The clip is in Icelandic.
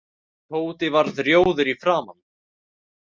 Tóti varð rjóður í framan.